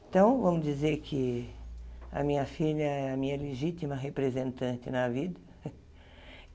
Então, vamos dizer que a minha filha é a minha legítima representante na vida.